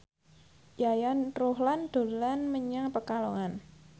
Yayan Ruhlan dolan menyang Pekalongan